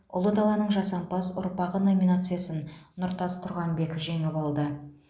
ұлы даланың жасампаз ұрпағы номинациясын нұртас тұрғанбек жеңіп алды